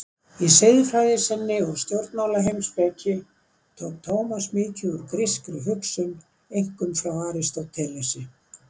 Í siðfræði sinni og stjórnmálaheimspeki tók Tómas mikið úr grískri hugsun, einkum frá Aristótelesi.